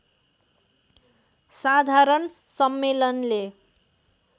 साधारण सम्मेलनले